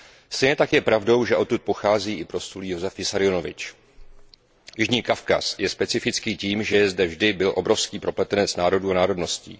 Stejně tak je pravdou, že odtud pochází i proslulý Josif Vissarionovič. Jižní Kavkaz je specifický tím, že zde je a vždy byl obrovský propletenec národů a národností.